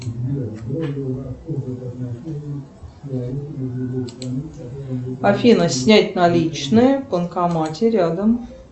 афина снять наличные в банкомате рядом